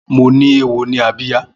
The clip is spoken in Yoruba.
Mó ni éwó ni ábíyá